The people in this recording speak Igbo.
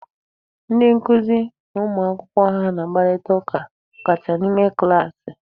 Ndị nkụzi na ụmụ akwụkwọ ha na-akparịta ụka ọ kachasị n'ime klaasị.